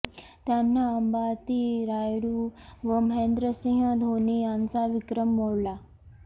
त्यांना अंबाती रायुडू व महेंद्रसिंह धोनी यांचा विक्रम मोडला